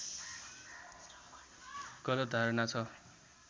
गलत धारणा ६